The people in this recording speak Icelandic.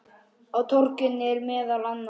Á torginu eru meðal annars